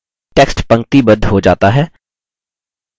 text पंक्तिबद्ध हो जाता है